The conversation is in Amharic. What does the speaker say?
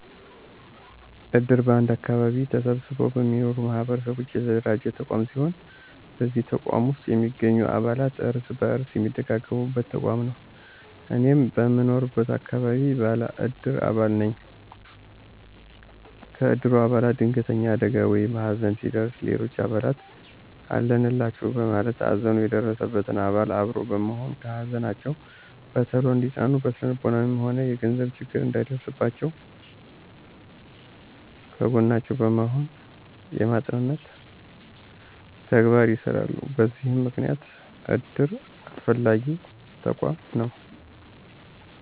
እድር በአንድ አከባቢ ተሰብስበው በሚኖሩ ማህበረሰቦች የተደራጀ ተቋም ሲሆን በዚህ ተቋም ውስጥ የሚገኙ አባላት እርስ በርስ የሚደጋገፉበት ተቋም ነው። እኔም በምኖርበት አከባቢ ባለ እድር አባል ነኝ። ከእድሩ አባላት ድንገተኛ አደጋ ወይም ሀዘን ሲደርስ ሌሎች አባላት አለንላቹ በማለት ሀዘኑ የደረሰበትን አባል አብሮ በመሆን ከሀዘናቸው በቶሎ እንዲፅናኑ እና ስነልቦናዊም ሆነ የገንዘብ ችግር እንዳይደርስባቸው ከጎናቸው በመሆን የማፅናናት ተግባር ይሰራሉ በዚህም ምክንያት እድር አስፈላጊ ተቋም ነው።